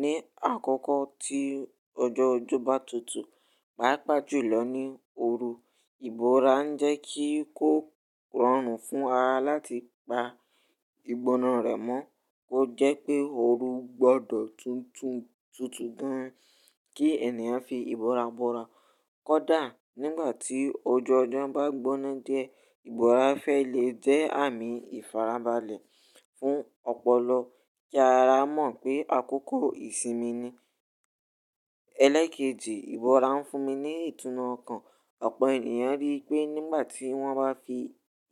Ní àkọ́kọ́ tí ọjọ́ ọjọ́ bá tutù, pàápàá jùlọ ní ooru, ìbora ń jẹ́ kí kó rọrùn fún ara láti pa ìgbóná rẹ̀ mọ́. Ó jẹ́ pé ooru gbọdọ̀ tutù gan kí ènìyàn fi ìbora bora kódà nígbà tí ojú ọjọ́ bá gbóná di ẹ, ìbora fẹ́ lè jẹ́ àmì ìfarabalẹ̀ fún ọpọlọ kí ara mọ̀ pé àkókò ìsinmi ni. Ìbora ń fún mi ní ìtùnú ọkàn. Ọ̀pọ̀ ènìyàn rí i pé nígbà tí wọ́n bá fi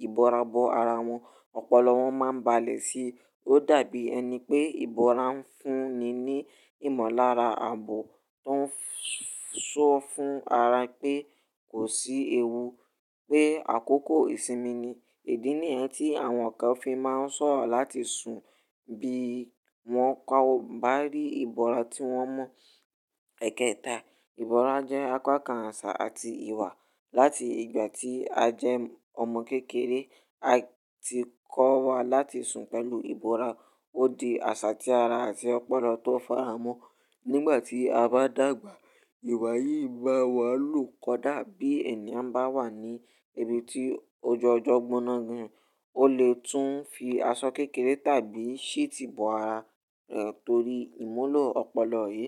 ìbora bo ara wọn, ọpọlọ wọn máa ń balẹ̀ sí i. Ó dàbí ẹni pé ìbora ń fúnni ní ìmọ̀lára àbọ̀ tó ń sọ fún ara pé kò sí ewú pé àkókò ìsinmi ni. Ìdí nìyẹn ti àwọn kan fi máa n sọ̀rọ̀ láti sun, bi wọ́n o ba ri ibora ti wọn mọ. Ẹẹkẹta ìbora jẹ́ apá kan àṣà àti ìwà. Láti ìgbà tí a jẹ́ ọmọ kékeré a ti kọ́ wa láti sùn pẹ̀lú ìbora. Ó di àṣà tí ara àti ọpọlọ tó faramọ́. Nígbà tí a bá dàgbà, ìwà yìí bá wa lò kódà bí ènìyàn bá wà ní ibi tí ojú ọjọ́ gbóná gan, ó lè tún fi aṣọ kékeré tàbí sheet bo ara rẹ̀ torí ìmulo ọpọlọ yìí.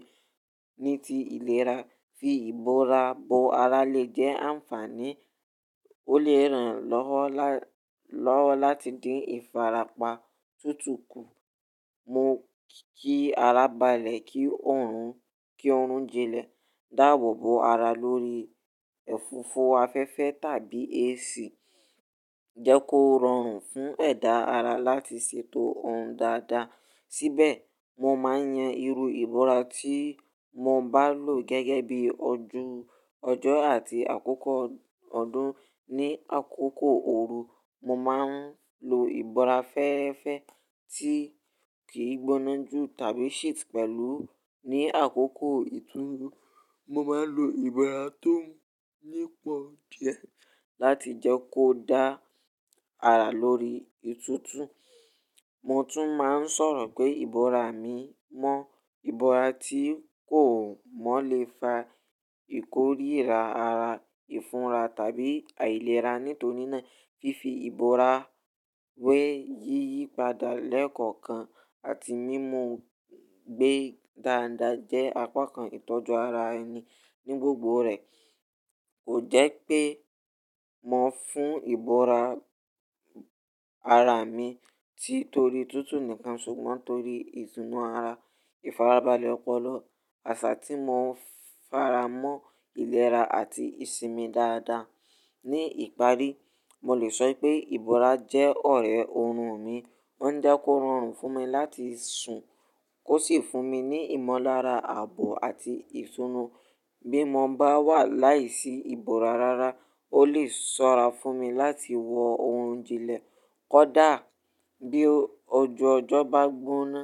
Ní ti ìlera, fi ìbora bo ara lè jẹ́ ànfàní. Ó lè ran lọ́wọ́ láti dín ìfarapa tutù kù. Mo kí ara balẹ̀ kí orun jilẹ̀, dàabò bo ara lórí ẹ̀fífo afẹ́fẹ́ tàbí AC. Jẹ́ kó rọrùn fún ẹ̀dá ara láti ṣètò oorun dáadáa. Síbẹ̀, mo máa ń yan irú ìbora tí mo bá lò gẹ́gẹ́ bí ojú ọjọ́ àti àkókò ọdún. Ní àkókò ooru, mo máa ń lo ìbora fẹ́ẹ́rẹ́fẹ́ tí kì í gbóná jù tàbí sheet pẹ̀lú. Ní àkókò ìtúúú, mo máa ń lo ìbora tó nípọn di ẹ láti jẹ́ kó dá ara lórí ìtútù. Mo tún máa ń sọ̀rọ̀ pé ìbora mi mọ́ ìbora tí kò mọ́ lè fa ìkóríra ara, ìfunra tàbí àìlera. Nítorí náà fífi ìbora wé yíyípadà lẹ́kọ̀ọ̀kan àti mímú gbé dáadáa jẹ́ apá kan ìtọ́jú ara ẹni ní gbogbo rẹ̀. Kò jẹ́ pé mo ń fún ìbora ara mi tí torí tútù nìkan ṣùgbọ́n torí ìtùnú ara, ìfarabalẹ̀ ọpọlọ, àṣà tí mo ń fara mọ́ ìlera àti ìsinmi dáadáa. Ní ìparí, mo lè sọ pé ìbora jẹ́ ọ̀rẹ́ oorùn mi. Ó ń jẹ́ kó rọrùn fún mi láti sùn kó sì fún mi ní ìmọ̀lára àbò àti ìtùnú bí mo bá wà láìsí ìbora rárá ó lè sọ́ra fún mi láti wọ ohun ìjìnlẹ̀ kódà bí ojú ọjọ́ bá gbóná.